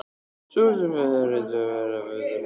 Sú sem hafði reynt að fræða þá örlítið um nútímalist?